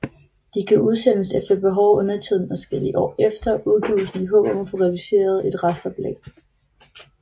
De kan udsendes efter behov og undertiden adskillige år efter udgivelsen i håb om at få realiseret et restoplag